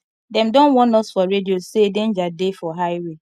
dem don warn us for radio sey danger dey for high way